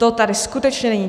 To tady skutečně není.